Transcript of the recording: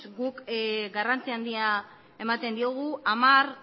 guk garrantzia handia ematen diogu hamar